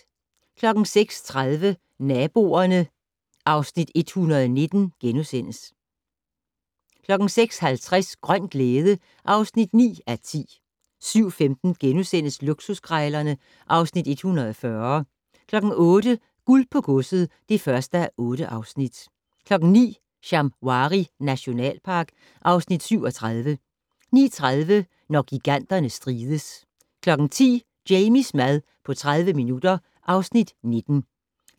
06:30: Naboerne (Afs. 119)* 06:50: Grøn glæde (9:10) 07:15: Luksuskrejlerne (Afs. 140)* 08:00: Guld på godset (1:8) 09:00: Shamwari nationalpark (Afs. 37) 09:30: Når giganterne strides 10:00: Jamies mad på 30 minutter (Afs. 19)